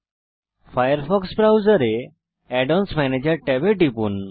Firefox ব্রাউজারে add ons ম্যানেজের ট্যাবে টিপুন